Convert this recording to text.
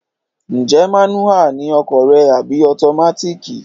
Ǹjẹ́ mánúhà ni ọkọ̀ rẹ àbí ọtomátíìkì?